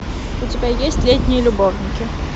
у тебя есть летние любовники